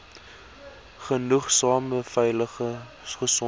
genoegsame veilige gesonde